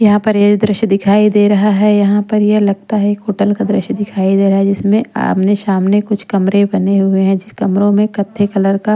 यहाँ पर ये दृश्य दिखाई दे रहा है यहाँ पर ये लगता है एक होटल का दृश्य दिखाई दे रहा है जिसमें आमने सामने कुछ कमरे बने हुए हैं जिस कमरों में कत्थई कलर का --